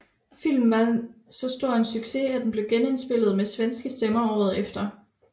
Filmen var så stor en succes at den blev genindspillet med svenske stemmer året efter